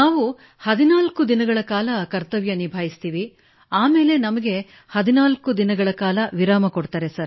ನಾವು 14 ದಿನಗಳ ಕಾಲ ಕರ್ತವ್ಯ ನಿಭಾಯಿಸುತ್ತೇವೆ ಬಳಿಕ ನಮಗೆ 14 ದಿನಗಳ ಕಾಲ ವಿರಾಮ ನೀಡಲಾಗುತ್ತದೆ